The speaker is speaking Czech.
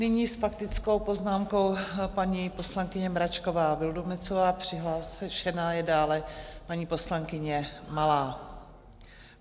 Nyní s faktickou poznámkou paní poslankyně Mračková Vildumetzová, přihlášená je dále paní poslankyně Malá.